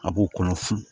A b'o kɔnɔ funfun